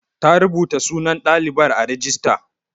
Ta rubuta sunan ɗalibar a rajista.